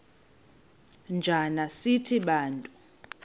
njana sithi bantu